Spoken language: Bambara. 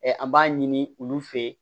an b'a ɲini olu fɛ yen